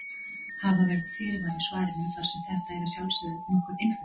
Hafa verður fyrirvara á svarinu þar sem þetta er að sjálfsögðu nokkur einföldun.